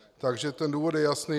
Takže ten důvod je jasný.